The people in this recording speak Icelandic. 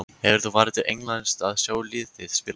Hefur þú farið til Englands að sjá lið þitt spila?